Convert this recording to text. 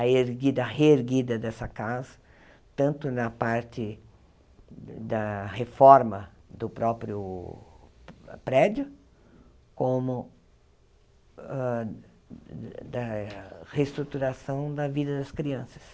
a erguida, a reerguida dessa casa, tanto na parte da reforma do próprio prédio, como hã da reestruturação da vida das crianças.